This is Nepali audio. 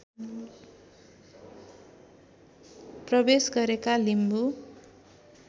प्रवेश गरेका लिम्बू